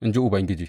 in ji Ubangiji.